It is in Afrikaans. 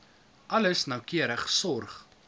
alles noukeurig sorg